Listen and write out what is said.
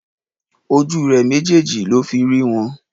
Ojú rè méjèèjì ló fi rí wọn